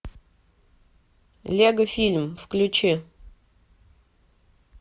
лего фильм включи